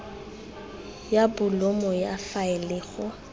ya bolumo ya faele go